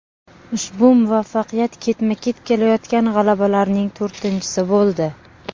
Ushbu muvaffaqiyat ketma-ket kelayotgan g‘alabalarning to‘rtinchisi bo‘ldi.